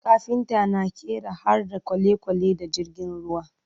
kafinta na ƙera harda kwalekwale da jirgin ruwa